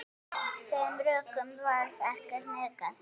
Þeim rökum varð ekki hnikað.